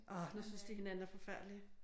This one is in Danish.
Åh nu synes de hinanden er forfærdelige?